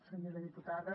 senyora diputada